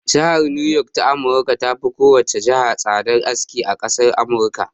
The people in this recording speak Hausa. Jihar niyok ta amurika ta fi kowane jiha tsadan aski a ƙasar amurika